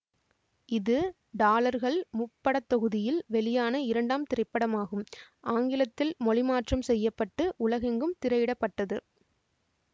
இது டாலர்கள் முப்படத்தொகுதியில் வெளியான இரண்டாம் திரைப்படமாகும் ஆங்கிலத்தில் மொழிமாற்றம் செய்ய பட்டு உலகெங்கும் திரையிட பட்டது